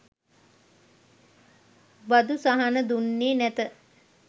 බදු සහන දුන්නේ නැත.